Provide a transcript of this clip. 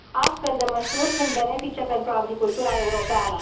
Astfel de măsuri sunt benefice pentru agricultura europeană.